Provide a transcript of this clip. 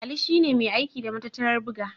Ali shi ne mai aiki da matattarar buga.